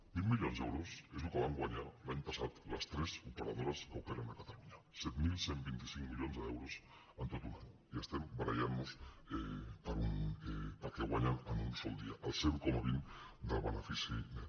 vint milions d’euros és el que van guanyar cada dia l’any passat les tres operadores que operen a catalunya set mil cent i vint cinc milions d’euros en tot un any i estem barallant nos pel que guanyen en un sol dia el zero coma vint del benefici net